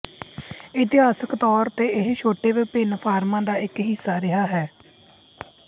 ਇਤਿਹਾਸਕ ਤੌਰ ਤੇ ਇਹ ਛੋਟੇ ਵਿਭਿੰਨ ਫਾਰਮਾਂ ਦਾ ਇੱਕ ਹਿੱਸਾ ਰਿਹਾ ਹੈ